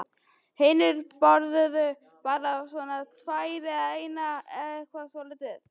Hinir borðuðu bara svona tvær eða eina eða eitthvað svoleiðis.